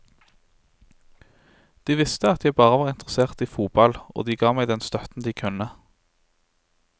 De visste at jeg bare var interessert i fotball, og de ga meg den støtten de kunne.